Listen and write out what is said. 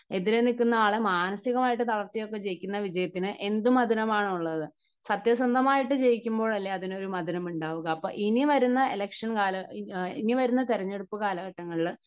എതിരെ നിൽക്കുന്ന ആളെ മാനസികമായി തളർത്തി ഒക്കെ ജയിക്കുന്ന വിജയത്തിന് എന്തു മധുരം ആണുള്ളത്? സത്യസന്ധമായിട്ട് ജയിക്കുമ്പോൾ അല്ലേ അതിനൊരു മധുരം ഉണ്ടാവുക? അപ്പോൾ ഇനി വരുന്ന ഇലക്ഷൻ കാല, ഇനി വരുന്ന തെരഞ്ഞെടുപ്പ് കാലഘട്ടങ്ങളിൽ